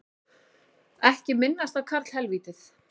Ekki minnast á karlhelvítið